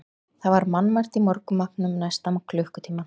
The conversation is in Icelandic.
Það var mannmargt í morgunmatnum næsta klukkutímann.